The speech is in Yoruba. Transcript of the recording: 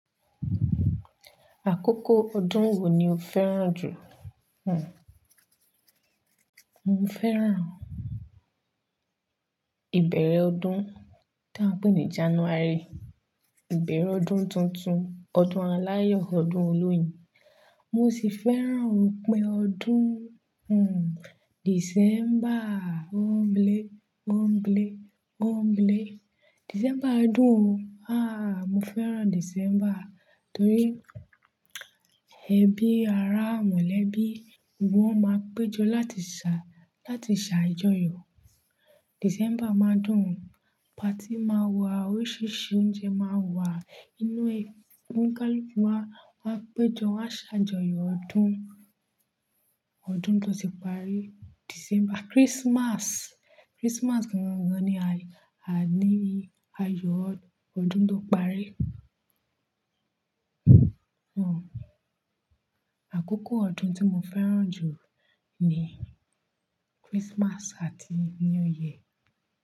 Àkókò ọdún wo ni o fẹ́ràn jù? Hmmm, mo fẹ́ràn ìbẹ̀rẹ̀ ọdún tí a ń pè ní January. Ìbẹ̀rẹ̀ ọdún tuntun, ọdún aláàyo ọdún olóyún. Mo sì fẹ́ràn ópin ọdún, hmmm, December. O n blle, o n blee, o n blee. December yen dùn o. Ah, mo fẹ́ràn December torí ẹbí, ará, mọ̀lẹ́bí gbogbo wọn máa péjọ láti ṣà, láti ṣàjọyọ̀. December máa dùn. Party máa wà, oríṣiríṣi oúnjẹ máa wà nínú ẹ̀, oni kaluku máa, máa péjọ, wón ṣàjọyọ̀ ọdún, ọdún tó ti parí. December, Christmas. Christmas gan gan ni àyè, àní ayọ̀ ọdún tó parí. Hmmm. Àkókò ọdún tí mo fẹ́ràn jù ni Christmas àti New Year.